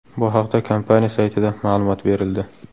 Bu haqda kompaniya saytida ma’lumot berildi .